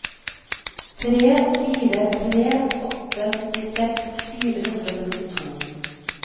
tre fire tre åtte syttiseks fire hundre og syttito